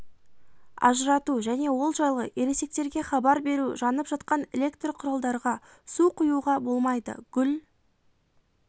ажырату және ол жайлы ересектерге хабар беру жанып жатқан электр құралдарға су құюға болмайды гүл